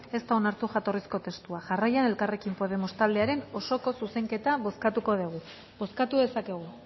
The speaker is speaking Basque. ez da onartu jatorrizko testua jarraian elkarrekin podemos taldearen osoko zuzenketa bozkatuko dugu bozkatu dezakegu